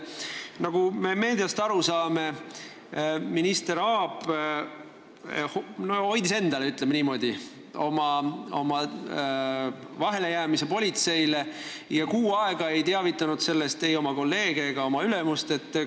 Nagu me meediast aru saame, minister Aab hoidis oma vahelejäämise politseile enda teada, ta ei teavitanud sellest kuu aega ei oma kolleege ega oma ülemust.